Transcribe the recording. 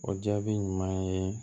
O jaabi ɲuman ye